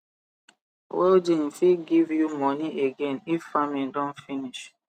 welding fit give you moni again if farming don finish